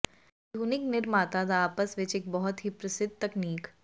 ਆਧੁਨਿਕ ਨਿਰਮਾਤਾ ਦਾ ਆਪਸ ਵਿੱਚ ਇੱਕ ਬਹੁਤ ਹੀ ਪ੍ਰਸਿੱਧ ਤਕਨੀਕ